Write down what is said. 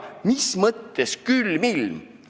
Mis mõttes külm ilm!?